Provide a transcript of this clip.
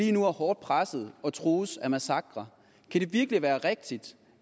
er hårdt presset og trues af massakre kan det virkelig være rigtigt